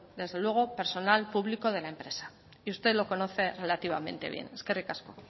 personal público de la empresa y usted lo conoce relativamente bien eskerrik asko